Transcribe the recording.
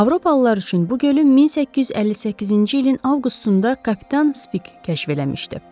Avropalılar üçün bu gölün 1858-ci ilin avqustunda kapitan Spik kəşf eləmişdi.